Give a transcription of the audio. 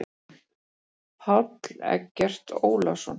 Páll Eggert Ólason.